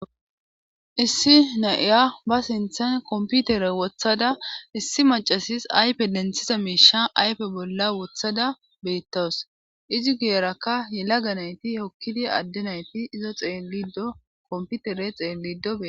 issi na'iya ba sinthan komputere wothada issi macasis aype denthiza miisha aype bolla wothada beettawus izi giyerakka yela ga nayti hokkidi adde nayti izo xeelido komputere xeellido dee